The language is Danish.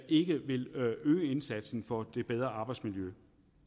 ikke vil øge indsatsen for et bedre arbejdsmiljø